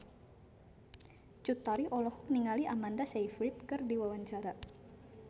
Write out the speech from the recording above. Cut Tari olohok ningali Amanda Sayfried keur diwawancara